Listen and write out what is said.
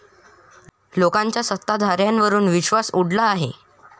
लोकांचा सत्ताधाऱ्यांवरुन विश्वास उडला आहे.